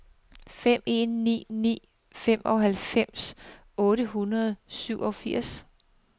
fem en ni ni femoghalvfems otte hundrede og syvogfirs